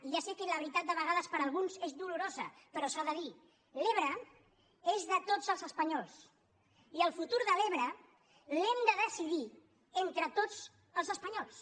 i ja sé que la veritat de vegades per alguns és dolorosa però s’ha de dir l’ebre és de tots els espanyols i el futur de l’ebre l’hem de decidir entre tots els espanyols